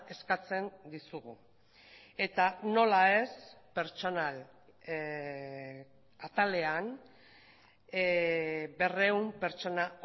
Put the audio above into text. eskatzen dizugu eta nola ez pertsonal atalean berrehun pertsona